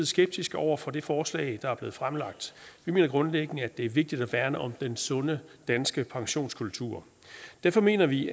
skeptiske over for det forslag der er blevet fremsat vi mener grundlæggende at det er vigtigt at værne om den sunde danske pensionskultur derfor mener vi